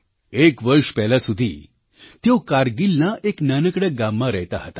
એક વર્ષ પહેલાં સુધી તેઓ કારગિલના એક નાનકડા ગામમાં રહેતાં હતાં